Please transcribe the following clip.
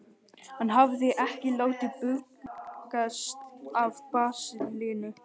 Hann hafði ekki látið bugast af baslinu.